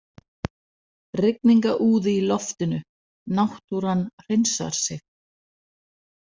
Rigningarúði í loftinu, náttúran hreinsar sig.